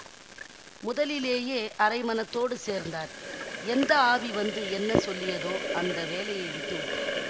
முதலிலேயே அரை மனத்தோடு சேர்ந்தார் எந்த ஆவி வந்து என்ன சொல்லியதோ அந்த வேலையை விட்டு விட்டார்